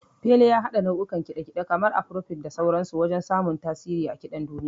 Fela ya haɗa nau'ukan kiɗa kiɗe, kamar Afarobit da sauran su, wajen samun tasiri a kiɗan duniya.